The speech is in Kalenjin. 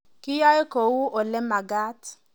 Kiyaei kou ole makaat